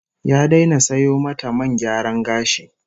Ya daina sayo mata man gyaran gashi